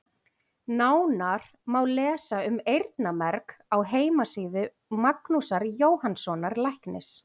Nánar má lesa um eyrnamerg á heimasíðu Magnúsar Jóhannssonar læknis.